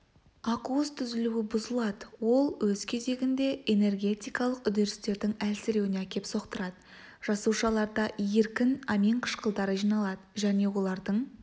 ақуыз түзілуі бұзылады ол өз кезегінде энергетикалық үдерістердің әлсіреуіне әкеп соқтырады жасушаларда еркін амин қышқылдары жиналады және олардың